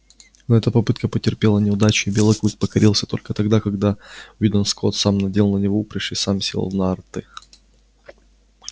но эта попытка потерпела неудачу и белый клык покорился только тогда когда уидон скотт сам надел на него упряжь и сам сел в нарты